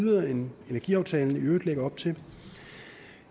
videre end energiaftalen i øvrigt lægger op til